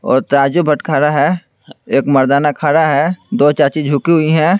और तराजू बटखरा है एक मर्दाना खड़ा है दो चाची झुकी हुई हैं।